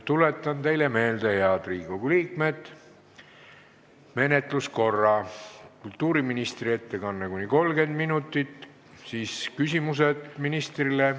Tuletan teile, head Riigikogu liikmed, meelde menetluskorra: kultuuriministri ettekanne kuni 30 minutit ja siis küsimused ministrile.